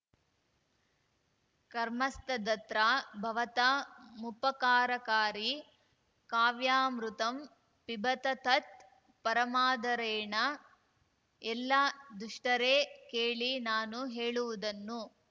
ಕರ್ಮಸ್ತದತ್ರ ಭವತಾ ಮುಪಕಾರಕಾರಿ ಕಾವ್ಯಾಮೃತಂ ಪಿಬತ ತತ್‌ ಪರಮಾದರೇಣ ಎಲ್ಲ ದುಷ್ಟರೇ ಕೇಳಿ ನಾನು ಹೇಳುವುದನ್ನು